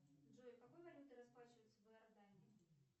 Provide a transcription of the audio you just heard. джой какой валютой расплачиваются в иордании